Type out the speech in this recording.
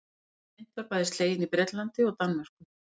Eldri mynt var bæði slegin í Bretlandi og Danmörku.